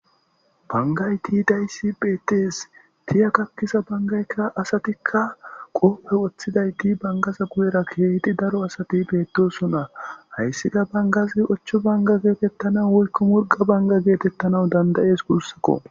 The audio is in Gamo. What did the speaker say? Bangayti dayssi beettees tiya kakkisa bangaykka asatikka qoope woththidayti bangaza guyera keehiti daro asati beettosona hayssika bangazi ochcho banga geetettana woykko murga banga geetettanau dandayees gurssakko.